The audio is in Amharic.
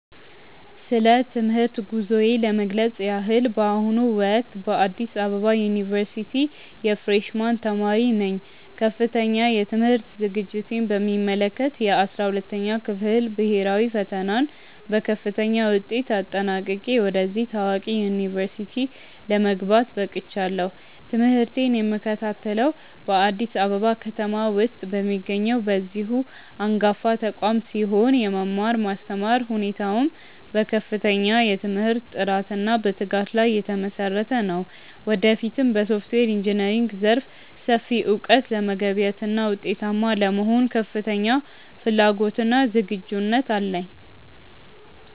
ስለ ትምህርት ጉዞዬ ለመግለጽ ያህል፣ በአሁኑ ወቅት በአዲስ አበባ ዩኒቨርሲቲ የፍሬሽ ማን ተማሪ ነኝ። ከፍተኛ የትምህርት ዝግጅቴን በሚመለከት፣ የ12ኛ ክፍል ብሄራዊ ፈተናን በከፍተኛ ውጤት አጠናቅቄ ወደዚህ ታዋቂ ዩኒቨርሲቲ ለመግባት በቅቻለሁ። ትምህርቴን የምከታተለው በአዲስ አበባ ከተማ ውስጥ በሚገኘው በዚሁ አንጋፋ ተቋም ሲሆን፣ የመማር ማስተማር ሁኔታውም በከፍተኛ የትምህርት ጥራትና በትጋት ላይ የተመሰረተ ነው። ወደፊትም በሶፍትዌር ኢንጂነሪንግ ዘርፍ ሰፊ እውቀት ለመገብየትና ውጤታማ ለመሆን ከፍተኛ ፍላጎትና ዝግጁነት አለኝ።